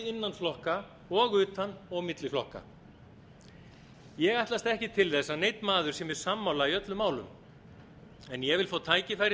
innan flokka og utan og á milli flokka ég ætlast ekki til þess að neinn maður sé mér sammála í öllum málum en ég vil fá tækifæri